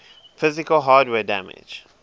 physical hardware damage